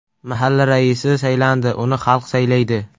Mahalla raisi saylanadi, uni xalq saylaydi.